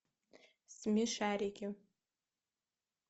смешарики